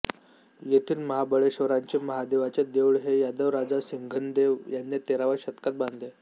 येथील महाबळेश्वराचे महादेवाचे देऊळ हे यादव राजा सिंघनदेव याने तेराव्या शतकात बांधले